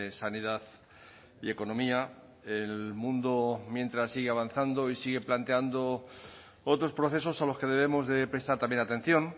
sanidad y economía el mundo mientras sigue avanzando y sigue planteando otros procesos a los que debemos de prestar también atención